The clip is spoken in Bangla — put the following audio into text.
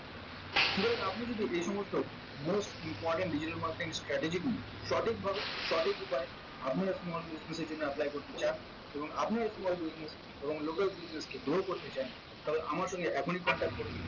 সুতরাং আপনি যদি এই সমস্ত most important digital marketing strategically সঠিকভাবে সঠিক উপায়ে আপনি small business এর জন্য apply করতে চান এবং আপনার small business এবং local business কে grow করতে চান তাহলে আমার সঙ্গে এখনই contact করুন